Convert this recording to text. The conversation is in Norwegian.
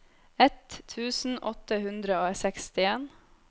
ett tusen åtte hundre og sekstien